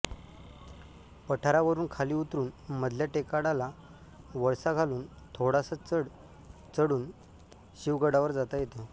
पठारावरुन खाली उतरून मधल्या टेकाडाला वळसा घालून थोडासा चढ चढून शिवगडावर जाता याते